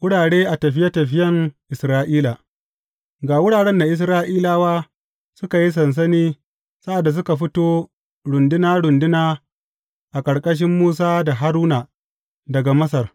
Wurare a tafiye tafiyen Isra’ila Ga wuraren da Isra’ilawa suka yi sansani sa’ad da suka fito runduna runduna a ƙarƙashin Musa da Haruna daga Masar.